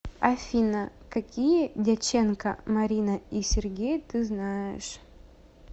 афина какие дяченко марина и сергей ты знаешь